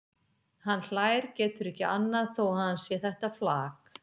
Hann hlær, getur ekki annað þó að hann sé þetta flak.